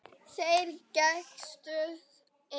Þeir gægðust inn.